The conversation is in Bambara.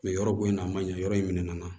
yɔrɔ bonya na a man ɲɛ yɔrɔ in minɛn nana